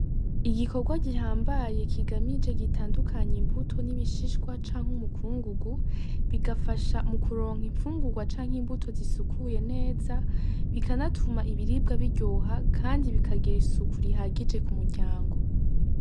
Igikorwa gihambaye kigamije gitandukanya imbuto n'ibishishwa canke umukungugu bigafasha kuronka infungurwa canke imbuto zisukuye neza bikanatuma ibiribwa biryoha kandi bikagira isuku rihagije ku muryango.